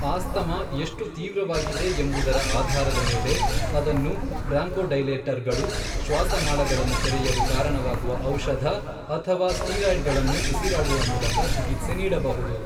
Asthma ಎಷ್ಟು ತೀವ್ರವಾಗಿದೆ ಎಂಬುದರ ಆಧಾರದ ಮೇಲೆ, ಅದನ್ನು ಬ್ರಾಂಕೋಡೈಲೇಟರ್ಗಳು, ಶ್ವಾಸನಾಳಗಳನ್ನು ತೆರೆಯಲು ಕಾರಣವಾಗುವ ಔಷಧ ಅಥವಾ ಸ್ಟೀರಾಯ್ಡ್ಗಳನ್ನು ಉಸಿರಾಡುವ ಮೂಲಕ ಚಿಕಿತ್ಸೆ ನೀಡಬಹುದು.